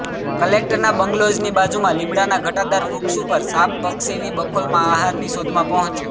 કલેક્ટરના બંગ્લોઝની બાજુમાં લીમડાના ઘટાદાર વૃક્ષ ઉપર સાપ પક્ષીની બખોલમાં આહારની શોધમાં પહોંચ્યો